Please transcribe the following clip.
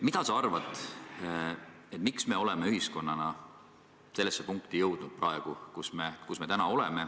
Mis sa arvad, miks me oleme ühiskonnana sellesse punkti jõudnud, kus me praegu oleme?